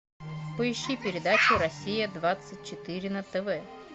поищи передачу россия двадцать четыре на тв